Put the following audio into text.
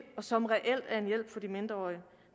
og som reelt er en hjælp for de mindreårige